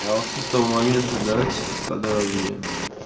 а вот с этого момента давайте по подробнее